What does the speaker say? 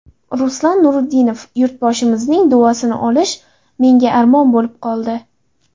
Ruslan Nuriddinov: Yurtboshimizning duosini olish menga armon bo‘lib qoldi.